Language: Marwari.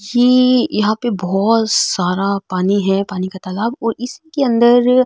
ये यहाँ पे बहोत सारा पानी है पानी का तालाब और इस के अंदर --